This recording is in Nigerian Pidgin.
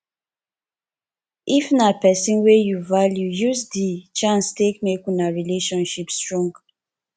if na person wey you value use di chance take make una relationship strong